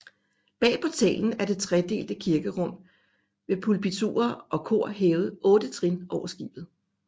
Bag portalen er det tredelte kirkerum med pulpiturer og kor hævet otte trin over skibet